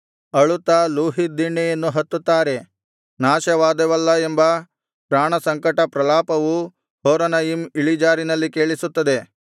ಅಳುತ್ತಾ ಲೂಹೀತ್ ದಿಣ್ಣೆಯನ್ನು ಹತ್ತುತ್ತಾರೆ ನಾಶವಾದೆವಲ್ಲಾ ಎಂಬ ಪ್ರಾಣಸಂಕಟ ಪ್ರಲಾಪವು ಹೊರೊನಯಿಮ್ ಇಳಿಜಾರಿನಲ್ಲಿ ಕೇಳಿಸುತ್ತದೆ